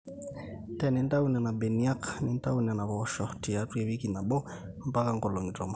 tenintau nena beniak nintau nena poosho tiatua ewiki nabo mbaka ngolong'i tomon